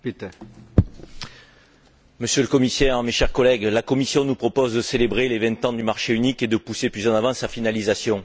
Monsieur le Président, Monsieur le Commissaire, mes chers collègues, la Commission nous propose de célébrer les vingt ans du marché unique et de pousser plus en avant sa finalisation.